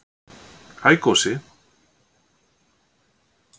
Hæ Gosi